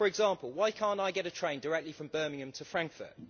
For example, why can't I get a train directly from Birmingham to Frankfurt?